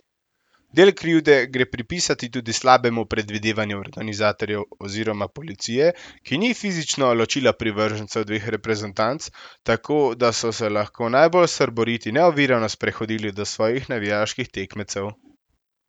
Del krivde gre pripisati tudi slabemu predvidevanju organizatorjev oziroma policije, ki ni fizično ločila privržencev dveh reprezentanc, tako da so se lahko najbolj srboriti neovirano sprehodili do svojih navijaških tekmecev.